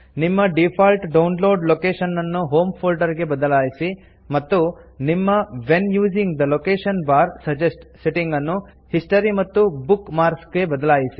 ನಿಮ್ಮ default download location ನನ್ನು home ಫೋಲ್ಡರ್ಗೆ ಬದಲಾಯಿಸಿ ಮತ್ತು ನಿಮ್ಮ when using the location bar suggest setting ಅನ್ನು ಹಿಸ್ಟರಿ ಮತ್ತು ಬುಕ್ ಮಾರ್ಕ್ಸ್ ಗೆ ಬದಲಾಯಿಸಿ